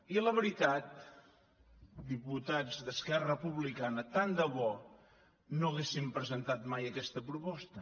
i la veritat diputats d’esquerra republicana tant de bo no haguessin presentat mai aquesta proposta